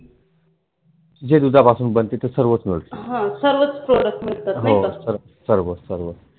जे दुधापासून बनते ते सर्वच मिळत. हां. सर्वंच Product मिळतात नाही का